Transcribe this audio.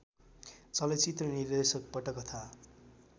चलचित्र निर्देशक पटकथा